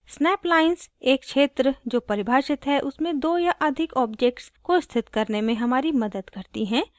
snap lines एक क्षेत्र जो परिभाषित है उसमें दो या अधिक objects को स्थित करने में हमारी मदद करती हैं